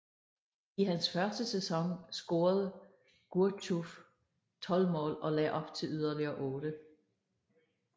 I hans første sæson scorede Gourcuff 12 mål og lagde op til yderligere 8